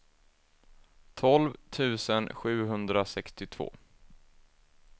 tolv tusen sjuhundrasextiotvå